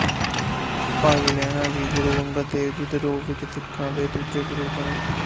ਭਾਈ ਲਹਿਣਾ ਜੀ ਗੁਰੂ ਅੰਗਦ ਦੇਵ ਦੇ ਰੂਪ ਵਿੱਚ ਸਿੱਖਾਂ ਦੇ ਦੂਜੇ ਗੁਰੂ ਬਣੇ